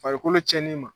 Farikolo cɛni ma